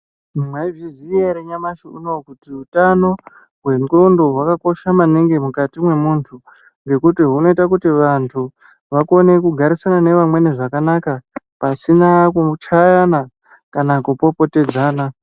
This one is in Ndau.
Mwaizviziya ere nyamashi unowu kuti utano hwenxondo hwakakosha maningi mukati mwemuntu ngekuti hunoite kuti vantu vakone kugarisana nevamweni zvakanaka pasina kuchayana kana kupopotedzana.